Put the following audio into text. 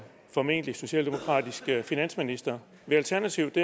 formentlig socialdemokratisk finansminister vil alternativet